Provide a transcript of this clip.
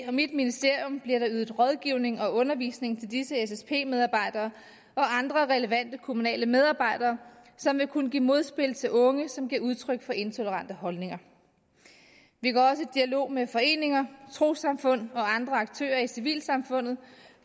og mit ministerium bliver der ydet rådgivning og undervisning til disse ssp medarbejdere og andre relevante kommunale medarbejdere som vil kunne give modspil til unge som giver udtryk for intolerante holdninger vi går også i dialog med foreninger trossamfund og andre aktører i civilsamfundet